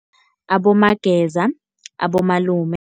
Abomageza, abomalume.